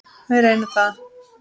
Við reynum það.